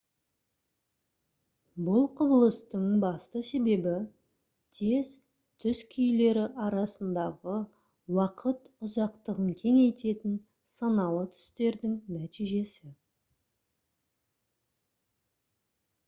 бұл құбылыстың басты себебі тез түс күйлері арасындағы уақыт ұзақтығын кеңейтетін саналы түстердің нәтижесі